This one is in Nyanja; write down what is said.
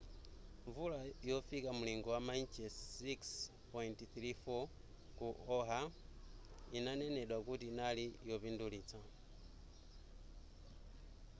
mvula yofika mlingo wa mainchesi 6.34 ku oahu inanenedwa kuti inali yopindulitsa